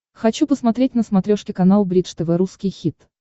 хочу посмотреть на смотрешке канал бридж тв русский хит